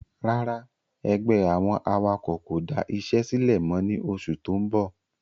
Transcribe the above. Rárá ẹgbẹ́ àwọn awakọ̀ kò da isé sílẹ̀ mọ ni oṣù tó ń bọ̀